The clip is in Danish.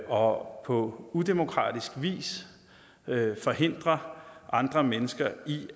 og på udemokratisk vis forhindrer andre mennesker i